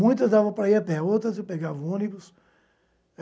Muitas davam para ir a pé, outras eu pegava ônibus.